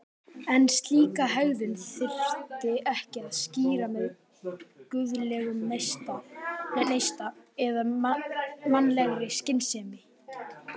En slíka hegðun þyrfti ekki að skýra með guðlegum neista eða mannlegri skynsemi.